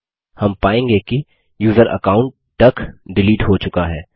हम पायेंगे कि यूज़र अकाउंट डक डिलीट हो चुका है